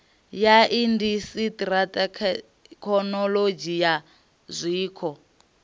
ya indasiṱiri thekinolodzhi ya zwiko